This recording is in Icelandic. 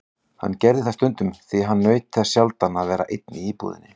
Hann gerði það stundum því hann naut þess sjaldan að vera einn í íbúðinni.